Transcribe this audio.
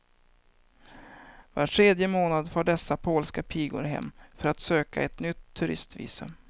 Var tredje månad far dessa polska pigor hem för att söka ett nytt turistvisum.